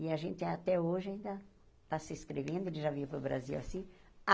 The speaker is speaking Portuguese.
E a gente até hoje ainda está se escrevendo, ele já veio para o Brasil assim.